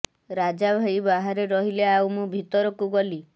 ରାଜା ଭାଇ ବାହାରେ ରହିଲେ ଆଉ ମୁଁ ଭିତରକୁ ଗଲି